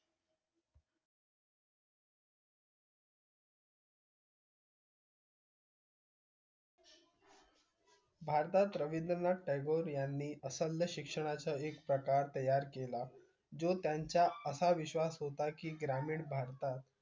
भारतात रविंद्रनाथ टागोर यांनी असंद शिक्षणा सह एक प्रकार तयार केला जो त्यांचा असं विश्वास होता की ग्रामीण भारतात